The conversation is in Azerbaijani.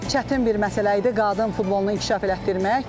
Çətin bir məsələ idi qadın futbolunu inkişaf elətdirmək.